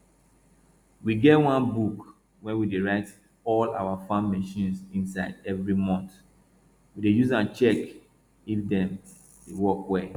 we get one book wey we dey write all our farm machines inside every month we dey use am check if dem dey work well